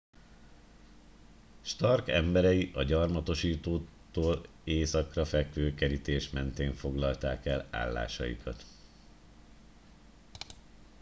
stark emberei a gyarmatosítóktól északra fekvő kerítés mentén foglalták el állásaikat